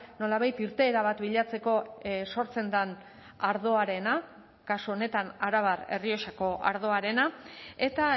nolabait irteera bat bilatzeko sortzen den ardoarena kasu honetan arabar errioxako ardoarena eta